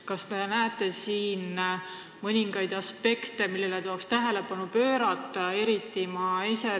Kas te näete siin mõningaid aspekte, millele tuleks tähelepanu pöörata?